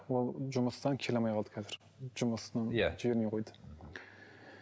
ол жұмыстан келе алмай қалды қазір жұмысы иә жібермей қойды